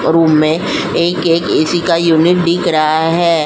पर रूम में एक-एक ऐसी का यूनियन दिख रहा है।